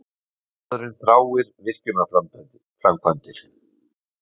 Karlmaðurinn þráir virkjunarframkvæmdir.